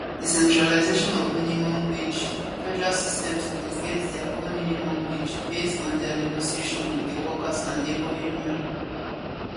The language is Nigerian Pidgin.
decentralisation of minimum wage federal system suppose get dia own minimum wage base on dia negotiation wit di workers and labour unions